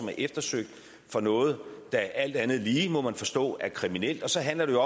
er eftersøgt for noget der alt andet lige må man forstå er kriminelt så handler det